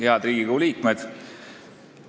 Head Riigikogu liikmed!